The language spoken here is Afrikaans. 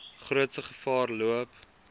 grootste gevaar loop